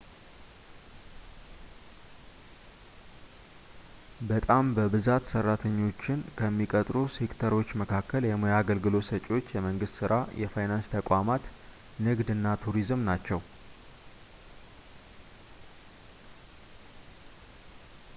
በጣም በብዛት ሰራተኛዎችን ከሚቀጥሩ ሴክተሮች መካከል የሙያ አገልግሎት ሰጪዎች የመንግስት ስራ የፋይናንስ ተቋማት ንግድ እና ቱሪዝም ናቸው